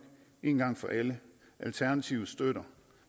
en gang for alle alternativet støtter